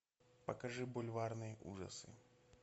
покажи бульварные ужасы